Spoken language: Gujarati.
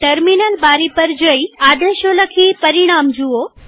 ટર્મિનલ બારી પર જઈઆદેશો લખીપરિણામો જુઓ